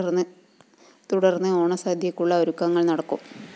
തുടര്‍ന്ന് ഓണസദ്യയ്ക്കുള്ള ഒരുക്കങ്ങള്‍ നടക്കും